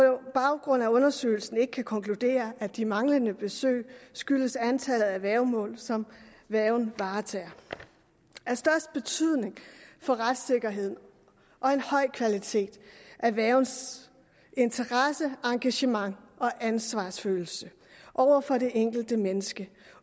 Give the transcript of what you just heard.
baggrund af undersøgelsen ikke kan konkludere at de manglende besøg skyldes antallet af værgemål som værgen varetager af størst betydning for retssikkerhed og en høj kvalitet er værgens interesse engagement og ansvarsfølelse over for det enkelte menneske